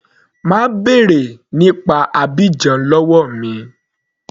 Má bèrè nípa Abidjan lọ́wọ́ mi.